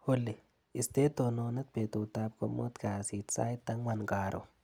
Olly, istee tononet betutap komut kasit sait angwan karon.